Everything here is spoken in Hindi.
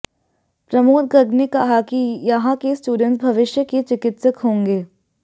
प्रमोद गर्ग ने कहा कि यहां के स्टूडेंट्स भविष्य के चिकित्सक होंगे